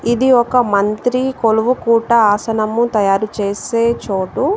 ఇది ఒక మంత్రి కొలువు కూట ఆసనము తయారు చేసే చోటు.